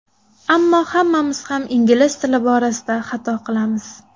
Ammo hammamiz ham ingliz tili borasida xato qilamiz.